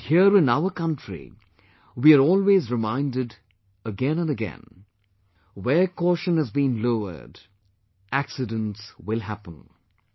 And, here in our country we are always reminded again and again 'Where caution has been lowered, the accident has happened